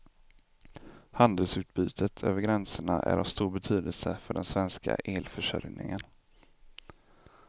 Handelsutbytet över gränserna är av stor betydelse för den svenska elförsörjningen.